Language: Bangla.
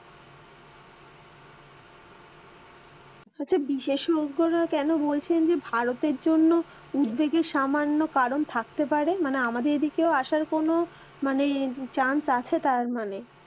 আচ্ছা, বিশেষজ্ঞরা কেন বলছেন যে ভারতের জন্য উদ্বেগের সামান্য কারণ থাকতে পারে, মানে আমদের এদিকেও আসার কোনো মানে chance আছে তার মানে,